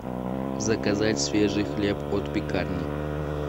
заказать свежий хлеб от пекарни